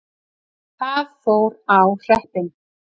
Það fór á hreppinn.